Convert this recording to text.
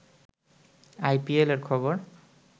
আইপিএলের খবর